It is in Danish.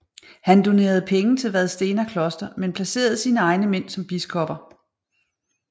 Han donerede penge til Vadstena kloster men placerede sine egne mænd som biskopper